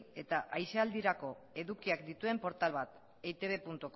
eta aisialdirako edukiak dituen portal bat eitbcom